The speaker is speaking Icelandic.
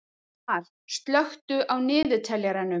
Mar, slökktu á niðurteljaranum.